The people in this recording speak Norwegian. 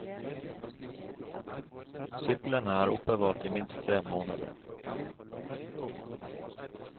Syklene er oppbevart i minst tre måneder.